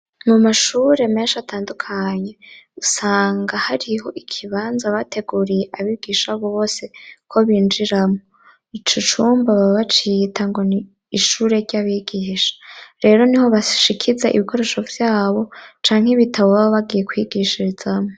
Mu mashure menshi atandukanye usanga hariho ikibanza bateguriye abigisha bose ko binjiramo, ico cumba babacita ngo ni ishure ry'abigihisha, rero niho bashikiza ibikoresho vyabo canke ibitabo babagiye kwigishirizamwo.